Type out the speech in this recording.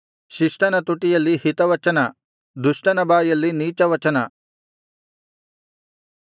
ಶಿಷ್ಟನ ತುಟಿಯಲ್ಲಿ ಹಿತವಚನ ದುಷ್ಟನ ಬಾಯಲ್ಲಿ ನೀಚವಚನ